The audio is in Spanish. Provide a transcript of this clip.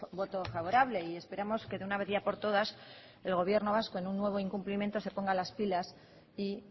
voto favorable y esperamos que de una vez ya por todas el gobierno vasco en un nuevo incumplimiento se ponga las pilas y